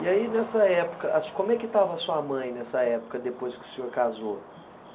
E aí, nessa época, as como é que estava a sua mãe, nessa época, depois que o senhor casou?